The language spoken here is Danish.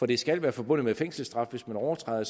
det skal være forbundet med fængselsstraf hvis man overtræder